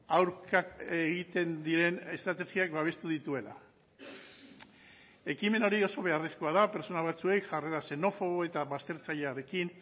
aurka egiten diren estrategiak babestu dituela ekimen hori oso beharrezkoa da pertsona batzuei jarrera xenofobo eta baztertzailearekin